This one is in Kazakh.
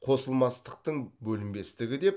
қосылмастықтың бөлінбестігі деп